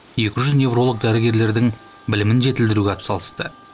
екі жүз невролог дәрігерлердің білімін жетілдіруге атсалысты